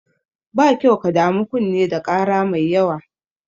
Ba kyau ka damu kunne da ƙara mai yawa.